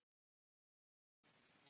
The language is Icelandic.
Ú